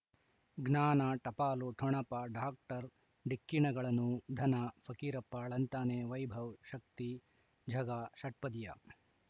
ಜ್ಞಾನ ಟಪಾಲು ಠೊಣಪ ಡಾಕ್ಟರ್ ಢಿಕ್ಕಿ ಣಗಳನು ಧನ ಫಕೀರಪ್ಪ ಳಂತಾನೆ ವೈಭವ್ ಶಕ್ತಿ ಝಗಾ ಷಟ್ಪದಿಯ